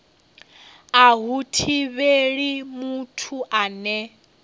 a hu thivheli muthu ane